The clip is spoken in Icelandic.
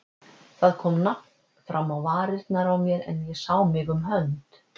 Það kom nafn fram á varirnar á mér, en ég sá mig um hönd.